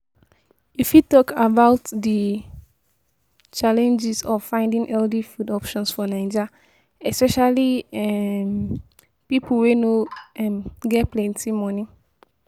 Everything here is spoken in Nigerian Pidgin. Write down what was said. You fit talk about di challenges of finding healthy food options for Naija, especially um people wey no um get plenty money.